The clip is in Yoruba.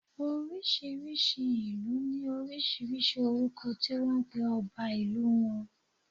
Oriṣiriṣi ilu ni oríṣiríṣi orúkọ ti wọn pe ọba ìlú wọn